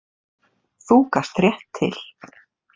Þú gast rétt til.